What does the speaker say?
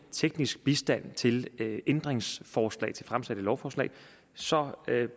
teknisk bistand til ændringsforslag til fremsatte lovforslag så